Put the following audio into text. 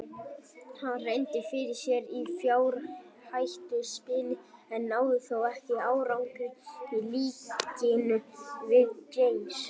Hann reyndi fyrir sér í fjárhættuspili en náði þó ekki árangri í líkingu við James.